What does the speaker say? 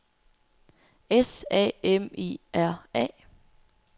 S A M I R A